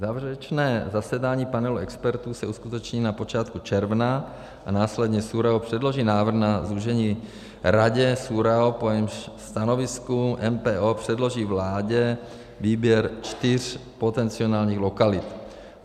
Závěrečné zasedání panelu expertů se uskuteční na počátku června a následně SÚRAO předloží návrh na zúžení Radě SÚRAO, po jejímž stanovisku MPO předloží vládě výběr čtyř potenciálních lokalit.